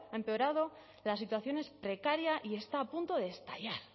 empeorado la situación es precaria y está a punto de estallar